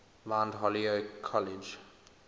mount holyoke college